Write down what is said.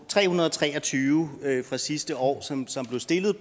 tre hundrede og tre og tyve fra sidste år som som blev stillet